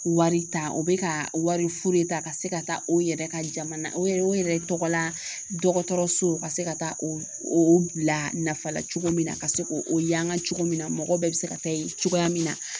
Wari ta o be ka wari fu de ta ka se ka taa o yɛrɛ ka jamana o yɛrɛ o yɛrɛ tɔgɔla dɔgɔtɔrɔso ka se ka taa o bila nafa la cogo min na ka se k'o o yangan cogo min na mɔgɔw bɛɛ se ka taa yen cogoya min na